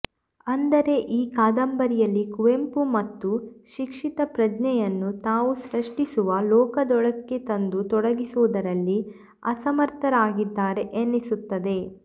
ಅಂದರೆ ಈ ಕಾದಂಬರಿಯಲ್ಲಿ ಕುವೆಂಪು ತಮ್ಮ ಶಿಕ್ಷಿತ ಪ್ರಜ್ಞೆಯನ್ನು ತಾವು ಸೃಷ್ಟಿಸುವ ಲೋಕದೊಳಕ್ಕೆ ತಂದು ತೊಡಗಿಸುವುದರಲ್ಲಿ ಅಸಮರ್ಥರಾಗಿದ್ದಾರೆ ಎನ್ನಿಸುತ್ತದೆ